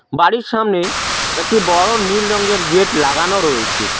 বাড়ির সামনে একটি বড় নীল রঙের গেট লাগানো রয়েছে।